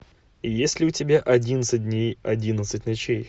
есть ли у тебя одиннадцать дней одиннадцать ночей